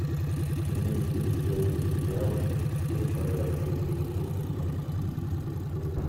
имеется ли у тебя сериал все в порядке это любовь сезон четыре эпизод пять